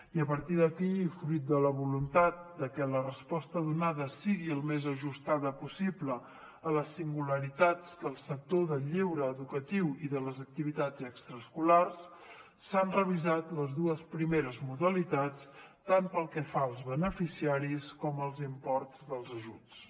i a partir d’aquí fruit de la voluntat que la resposta donada sigui el més ajustada possible a les singularitats del sector del lleure educatiu i de les activitats extraescolars s’han revisat les dues primeres modalitats tant pel que fa als beneficiaris com als imports dels ajuts